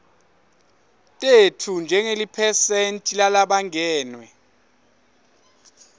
tetfu njengeliphesenti lalabangenwe